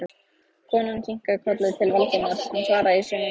Konan kinkaði kolli til Valdimars, hann svaraði í sömu mynt.